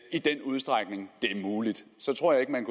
i den udstrækning det er muligt så tror jeg ikke man